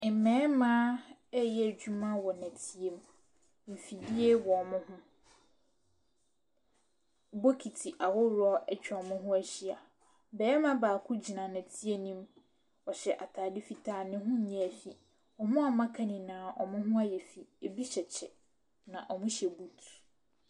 Mmarima reyɛ adwuma wɔ nɔteɛ mu. Mfidie wɔ wɔn ho. Bokiti ahorow atwa wɔn ho ahyia. Barima baako gyina nɛteɛ no mu. Ɔhyɛ ataade fitaa ne ho nyɛɛ fi. Wɔn a wɔn a wɔaka nyinaa wɔn ho ayɛ fi ebi hyɛ kyɛ na wɔhyɛ boot.